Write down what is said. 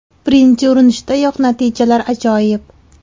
Birinchi urinishdayoq natijalar ajoyib”.